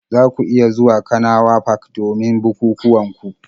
Za ku iya zuwa kanawa park domin bukukuwan ku